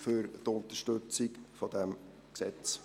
Danke für die Unterstützung dieses Gesetzes.